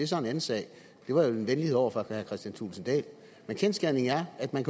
så en anden sag det var jo en venlighed over for herre kristian thulesen dahl men kendsgerningen er at man